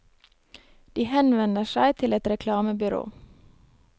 De henvender seg til et reklamebyrå.